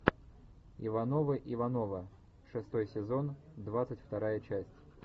ивановы ивановы шестой сезон двадцать вторая часть